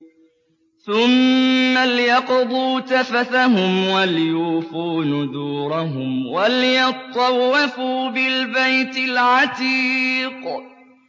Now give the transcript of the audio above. ثُمَّ لْيَقْضُوا تَفَثَهُمْ وَلْيُوفُوا نُذُورَهُمْ وَلْيَطَّوَّفُوا بِالْبَيْتِ الْعَتِيقِ